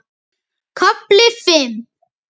KAFLI FIMM